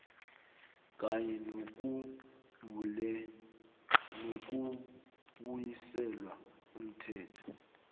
kanye nokubuyiselwa umthelo